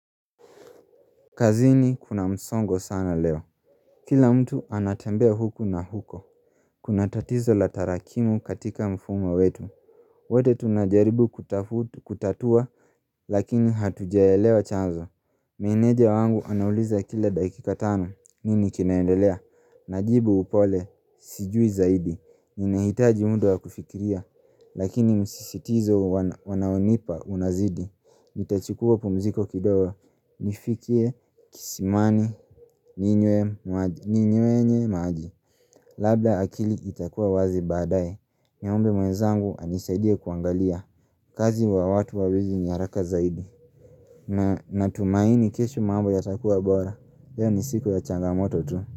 Kazini kuna msongo sana leo Kila mtu anatembea huku na huko Kuna tatizo la tarakimu katika mfumo wetu wote tunajaribu kutafu kutatua lakini hatujaelewa chanzo Meneja wangu anauliza kila dakika tano nini kinaendelea Najibu upole sijui zaidi inahitaji mda wa kufikiria Lakini msisitizo wana wanaonipa unazidi Nita chukuwa pumziko kidogo. Nifikie, kisimani, ninywe maji, ninywenye maji Labda akili itakuwa wazi baadaye niombe mwezangu anisaidie kuangalia kazi wa watu wawili ni haraka zaidi na tumaini kesho mambo yatakuwa bora leo ni siku ya changamoto tu.